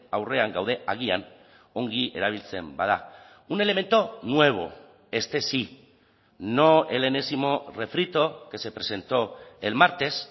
aurrean gaude agian ongi erabiltzen bada un elemento nuevo este sí no el enésimo refrito que se presentó el martes